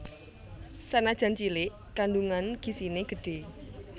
Sanajan cilik kandungan gizine gedhe